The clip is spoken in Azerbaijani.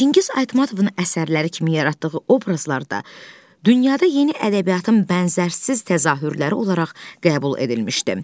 Çingiz Aytmatovun əsərləri kimi yaratdığı obrazlarda dünyada yeni ədəbiyyatın bənzərsiz təzahürləri olaraq qəbul edilmişdi.